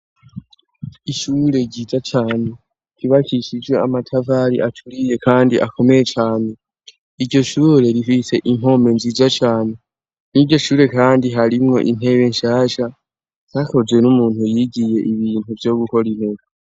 Ishure ryija cane kibakishije amatavali acuriye, kandi akomeye cane iryo shure rifise inkome nzija cane niryo ishure, kandi harimwo intewe nshasha ntakozwe n'umuntu yigiye ibintu vyo gukora inteka.